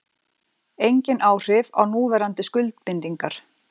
Engin áhrif á núverandi skuldbindingar